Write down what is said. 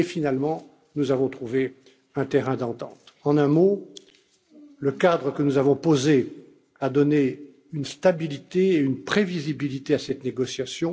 Finalement, nous avons trouvé un terrain d'entente. En un mot, le cadre que nous avons posé a donné une stabilité et une prévisibilité à cette négociation.